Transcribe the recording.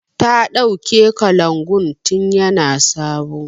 Ta ɗauke kalangun tin ya na sabo